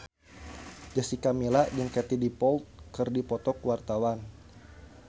Jessica Milla jeung Katie Dippold keur dipoto ku wartawan